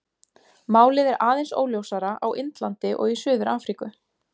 Málið er aðeins óljósara á Indlandi og í Suður-Afríku.